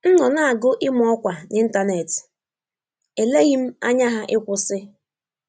M nọ na agụ ịma ọkwa ninternet, E eleghị m anya ha ịkwụsị